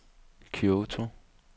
Kyoto